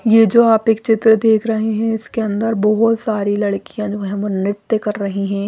यह जो आप एक चित्र देख रहे हैं इसके अंदर बहोत सारी लड़कियां जो है वो नृत्य कर रही हैं।